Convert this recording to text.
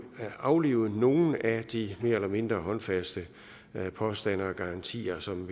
at aflive nogle af de mere eller mindre håndfaste påstande og garantier som